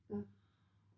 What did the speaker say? Ja?